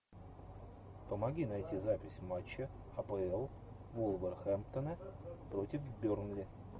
помоги найти запись матча апл вулверхэмптона против бернли